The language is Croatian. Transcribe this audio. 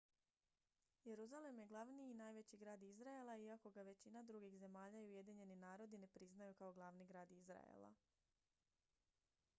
jeruzalem je glavni i najveći grad izraela iako ga većina drugih zemalja i ujedinjeni narodi ne priznaju kao glavni grad izraela